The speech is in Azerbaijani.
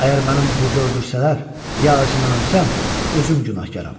Əgər mənim burada öldürsələr, ya acından ölsəm, özüm günahkaram.